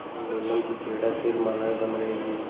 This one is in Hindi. और नीलम की क्रीड़ा शैलमालाएँ बन रही थीं